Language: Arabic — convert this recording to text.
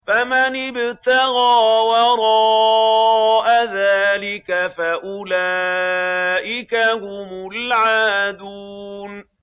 فَمَنِ ابْتَغَىٰ وَرَاءَ ذَٰلِكَ فَأُولَٰئِكَ هُمُ الْعَادُونَ